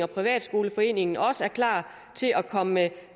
privatskoleforening også er klar til at komme